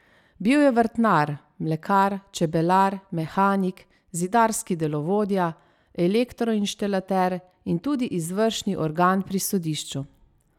Bil je vrtnar, mlekar, čebelar, mehanik, zidarski delovodja, elektroinštalater in tudi izvršni organ pri sodišču.